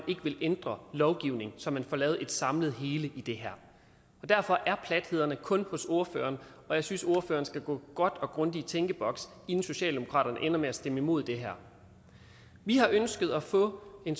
ikke ville ændre lovgivningen så man får lavet et samlet hele i det her derfor er plathederne kun hos ordføreren og jeg synes at ordføreren skal gå godt og grundigt i tænkeboks inden socialdemokraterne ender med at stemme imod det her vi har ønsket at få en